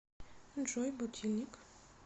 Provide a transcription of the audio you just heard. джой будильник